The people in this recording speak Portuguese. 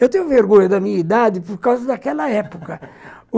Eu tenho vergonha da minha idade por causa daquela época